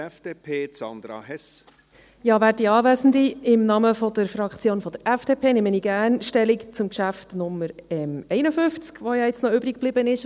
Im Namen der Fraktion der FDP nehme ich gerne Stellung zum Geschäft in Traktandum 51 , das nun noch übriggeblieben ist.